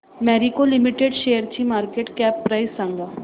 Marico limited शेअरची market cap price सांगा